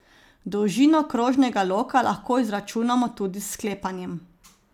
Dolžino krožnega loka lahko izračunamo tudi s sklepanjem.